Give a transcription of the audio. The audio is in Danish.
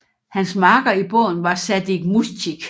Hans makker i båden var Sadik Mujkič